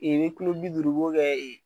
i bi duuru i bo kɛ